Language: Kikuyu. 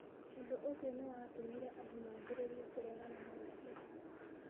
Ũndũ ũcio nĩ watũmire andũ mambĩrĩrie kũregana nake.